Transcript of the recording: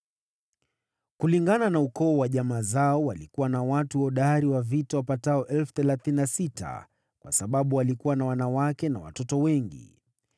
Kulingana na ukoo wa jamaa zao, walikuwa na watu hodari wa vita wapatao 36,000, kwa sababu walikuwa na wanawake na watoto wengi.